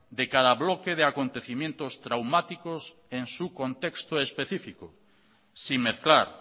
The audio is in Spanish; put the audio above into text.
de cada bloque de acontecimientos traumáticos en su contexto específico sin mezclar